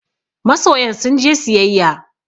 Masoyan sun je siyayya